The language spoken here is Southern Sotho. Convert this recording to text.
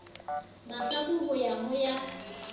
mahlaku ho ya ho ya